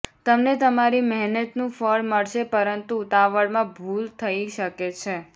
તમને તમારી મહેનતનું ફળ મળશે પરંતુ ઉતાવળમાં ભૂલ થઈ શકે છે